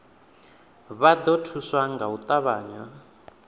vha ḓo thuswa nga u ṱavhanya